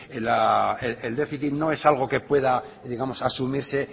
el déficit no es algo que pueda asumirse